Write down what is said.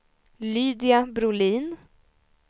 Lydia Brolin